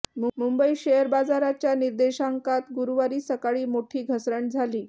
Mumbai share बाजाराच्या निर्देशांकात गुरुवारी सकाळी मोठी घसरण झाली